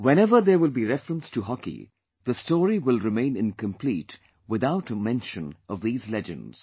Wheneverthere will be reference to Hockey, the story will remain incomplete without a mention of these legends